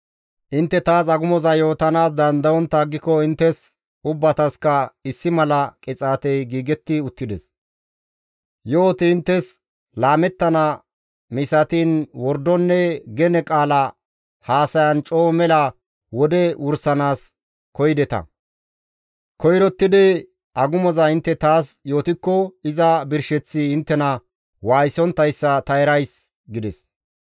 Intte taas agumoza yootanaas dandayontta aggiko inttes ubbatasikka issi mala qixaatey giigetti uttides; yo7oti inttes laamettana misatiin wordonne gene qaala haasayan coo mela wode wursanaas koyideta; koyrottidi agumoza intte taas yootikko iza birsheththi inttena waayisonttayssa ta erays» gides.